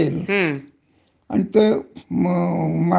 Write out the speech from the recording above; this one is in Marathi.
त्याच्यामुळे शेतीच्याह्याच्यात कष्टाची जे कामं आहे,